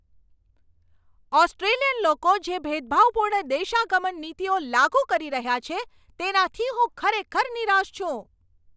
Australian લોકો જે ભેદભાવપૂર્ણ દેશાગમન નીતિઓ લાગુ કરી રહ્યા છે તેનાથી હું ખરેખર નિરાશ છું.